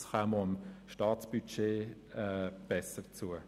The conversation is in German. Dies käme auch dem Staatsbudget besser zu.